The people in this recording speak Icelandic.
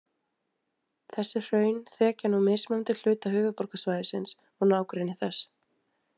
Þessi hraun þekja nú mismunandi hluta höfuðborgarsvæðisins og nágrennis þess.